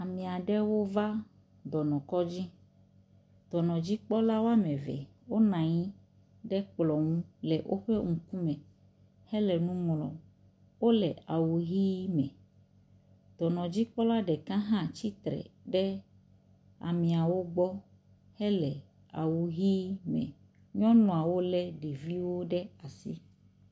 Ame aɖewo va dɔnɔkɔdzi. dɔnɔdzikpɔla wɔme eve wonɔ anyi ɖe kplɔ ŋu le woƒe ŋkume hele nu ŋlɔm. Wo le awu ʋi me. Dɔnɔdzikpɔla ɖeka hã tsitre ɖe ameawo gbɔ hele awu ʋi me. nyɔnuawo le ɖeviwo ɖe asi.